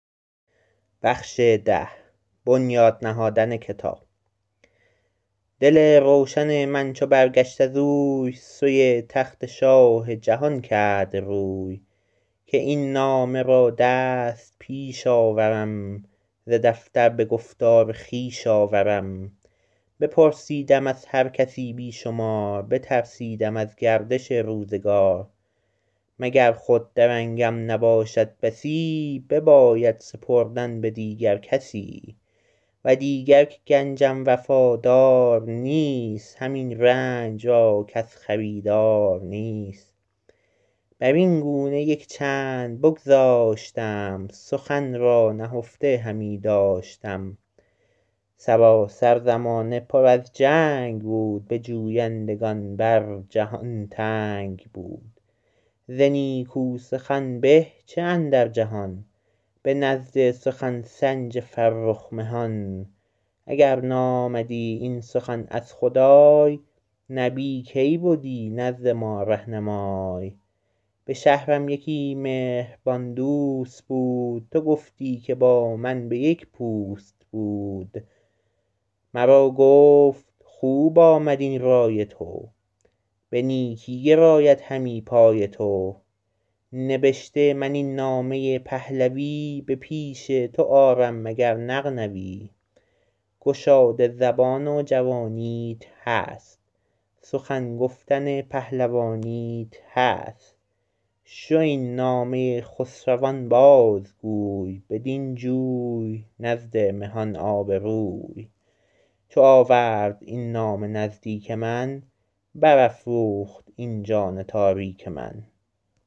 دل روشن من چو برگشت از اوی سوی تخت شاه جهان کرد روی که این نامه را دست پیش آورم ز دفتر به گفتار خویش آورم بپرسیدم از هر کسی بی شمار بترسیدم از گردش روزگار مگر خود درنگم نباشد بسی بباید سپردن به دیگر کسی و دیگر که گنجم وفادار نیست همین رنج را کس خریدار نیست بر این گونه یک چند بگذاشتم سخن را نهفته همی داشتم سراسر زمانه پر از جنگ بود به جویندگان بر جهان تنگ بود ز نیکو سخن به چه اندر جهان به نزد سخن سنج فرخ مهان اگر نامدی این سخن از خدای نبی کی بدی نزد ما رهنمای به شهرم یکی مهربان دوست بود تو گفتی که با من به یک پوست بود مرا گفت خوب آمد این رای تو به نیکی گراید همی پای تو نبشته من این نامه پهلوی به پیش تو آرم مگر نغنوی گشاده زبان و جوانیت هست سخن گفتن پهلوانیت هست شو این نامه خسروان باز گوی بدین جوی نزد مهان آبروی چو آورد این نامه نزدیک من بر افروخت این جان تاریک من